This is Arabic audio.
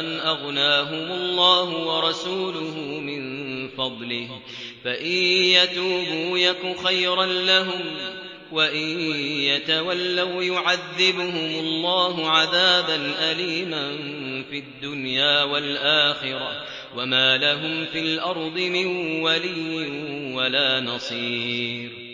أَنْ أَغْنَاهُمُ اللَّهُ وَرَسُولُهُ مِن فَضْلِهِ ۚ فَإِن يَتُوبُوا يَكُ خَيْرًا لَّهُمْ ۖ وَإِن يَتَوَلَّوْا يُعَذِّبْهُمُ اللَّهُ عَذَابًا أَلِيمًا فِي الدُّنْيَا وَالْآخِرَةِ ۚ وَمَا لَهُمْ فِي الْأَرْضِ مِن وَلِيٍّ وَلَا نَصِيرٍ